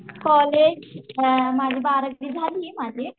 college हा माझी बारावी झालीये माझी